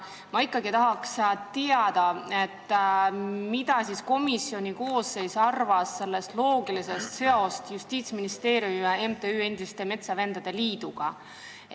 Ma siiski tahan teada, mida komisjoni koosseis arvas sellest loogilisest seosest Justiitsministeeriumi ja MTÜ Eesti Endiste Metsavendade Liit vahel.